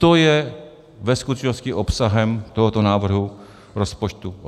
To je ve skutečnosti obsahem tohoto návrhu rozpočtu.